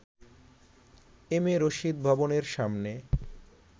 M A Rashid ভবনের সামনে